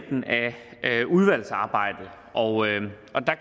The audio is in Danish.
er af udvalgsarbejdet og